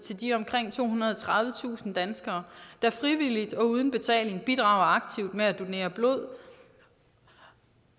de omkring tohundrede og tredivetusind danskere der frivilligt og uden betaling bidrager aktivt med at donere blod